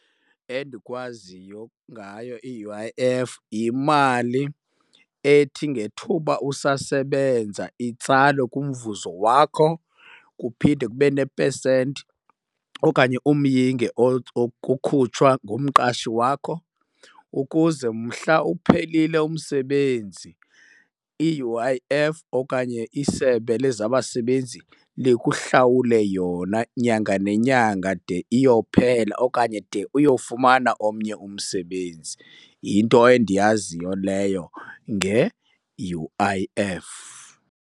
Endikwaziyo ngayo i-U_I_F yimali ethi ngethuba usasebenza itsalwe kumvuzo wakho kuphinde kube nepesenti okanye umyinge okhutshwa ngumqashi wakho ukuze mhla uphelile umsebenzi i-U_I_F okanye isebe lezabasebenzi likuhlawule yona nyanga nenyanga de iyophela okanye de uyofumana omnye umsebenzi. Yinto endiyaziyo leyo nge-U_I_F.